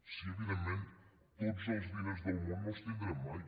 sí evidentment tots els diners del món no els tindrem mai